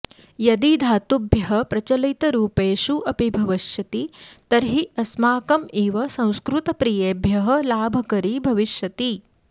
यदि धातुभ्यः प्रचलितरूपेषु अपि भविष्यति तर्हि अस्माकम् इव संस्कृतप्रियेभ्यः लाभकरी भविष्यति